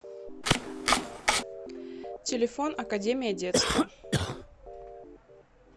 телефон академия детства